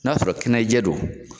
N'a sɔrɔ kɛnɛjɛ don